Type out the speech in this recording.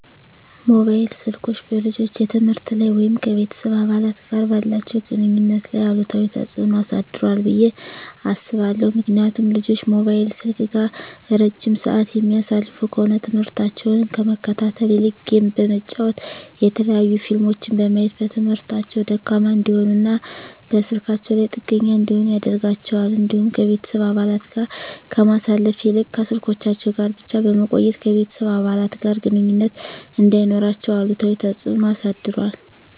መሞባይል ስልኮች በልጆች የትምህርት ላይ ወይም ከቤተሰብ አባላት ጋር ባላቸው ግንኙነት ላይ አሉታዊ ተጽዕኖ አሳድሯል ብየ አስባለሁ። ምክንያቱም ልጆች ሞባይል ስልክ ጋር እረጅም ስዓት የሚያሳልፉ ከሆነ ትምህርሞታቸውን ከመከታተል ይልቅ ጌም በመጫወት የተለያዩ ፊልሞችን በማየት በትምህርታቸው ደካማ እንዲሆኑና በስልካቸው ላይ ጥገኛ እንዲሆኑ ያደርጋቸዋል። እንዲሁም ከቤተሰብ አባለት ጋር ከማሳለፍ ይልቅ ከስልኮቻቸው ጋር ብቻ በመቆየት ከቤተሰብ አባለት ጋር ግንኙነት እንዳይኖራቸው አሉታዊ ተፅዕኖ አሳድሯል።